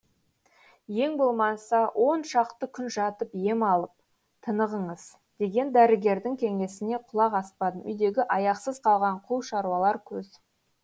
ең болмаса оншақты күн жатып ем алып тынығыңыз деген дәрігердің кеңесіне құлақ аспадым үйдегі аяқсыз қалған қу шаруалар көз